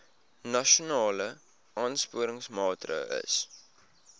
nasionale aansporingsmaatre ls